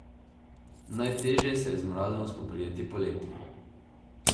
Najtežje se je z mrazom spoprijeti poleti.